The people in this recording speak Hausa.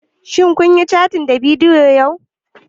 Shin kun yi cattin ta bidiyo yau?